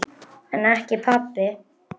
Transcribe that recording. Og hvernig lýsti það sér?